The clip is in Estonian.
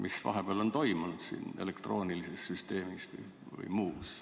Mis vahepeal on toimunud elektroonilises süsteemis või kuskil mujal?